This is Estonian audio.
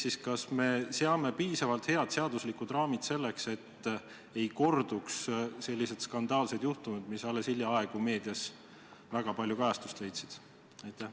Teisisõnu, kas me seame piisavalt head seaduslikud raamid, et ei korduks selliseid skandaalseid juhtumeid, mis alles hiljaaegu meedias väga palju kajastust leidsid?